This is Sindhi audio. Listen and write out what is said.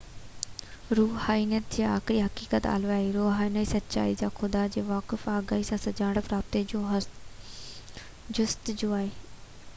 روحانيت هڪ آخرين حقيقت الاهي روحاني سچائي يا خدا جي واقف آگاهي سان سڃاڻپ رابطي جي جستجو آهي